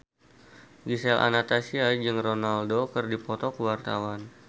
Gisel Anastasia jeung Ronaldo keur dipoto ku wartawan